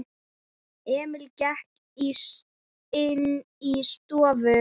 Emil gekk inní stofu.